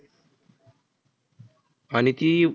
आणि ती